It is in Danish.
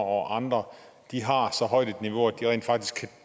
og andre har så højt et niveau at de rent faktisk